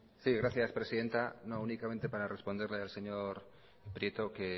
sí gracias presidenta no únicamente para responderle al señor prieto que